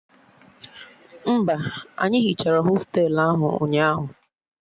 Mba, anyị hichara hostelu ahụ ụnyaahụ